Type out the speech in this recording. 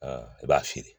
I b'a feere